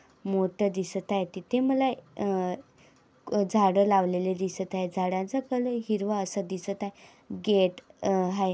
मोत्या दिसत आहेत. तिथे मला अ झाड लावलेले दिसत आहेत. झाडांचा कलर हिरवा असा दिसत आहे. गेट आ हाय.